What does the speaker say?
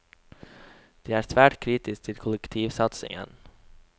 De er svært kritisk til kollektivsatsingen.